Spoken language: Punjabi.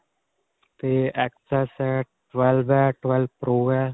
'ਤੇ xs ਹੈ ,twelve ਹੈ, twelve pro ਹੈ.